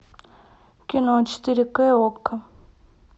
кино четыре ке окко